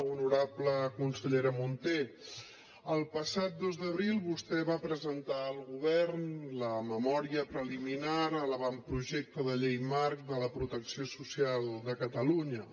honorable consellera munté el passat dos d’abril vostè va presentar al govern la memòria preliminar a l’avantprojecte de llei marc de la protecció social de catalunya